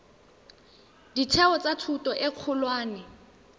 ditheo tsa thuto e kgolwane